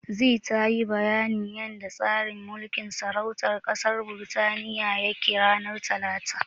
Zee tayi bayanin yanda tsarin mulkin sarautar ƙasar Birtaniya yake, ranar Talata.